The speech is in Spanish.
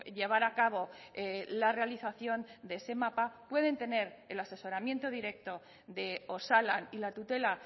llevar a cabo la realización de ese mapa pueden tener el asesoramiento directo de osalan y la tutela